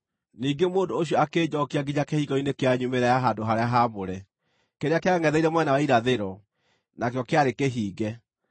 Ningĩ mũndũ ũcio akĩnjookia nginya kĩhingo-inĩ kĩa nyumĩrĩra ya handũ-harĩa-haamũre, kĩrĩa kĩangʼetheire mwena wa irathĩro, nakĩo kĩarĩ kĩhinge.